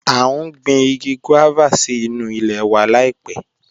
A n gbìn igi guávà sí nú ilẹ̀ wa laipẹ̀